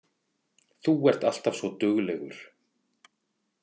Þú ert alltaf svo duglegur